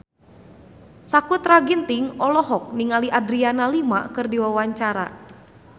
Sakutra Ginting olohok ningali Adriana Lima keur diwawancara